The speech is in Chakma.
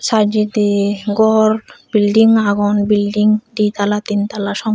sazi de gor building agon building di tala tin tala song.